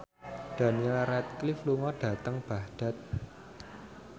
Daniel Radcliffe lunga dhateng Baghdad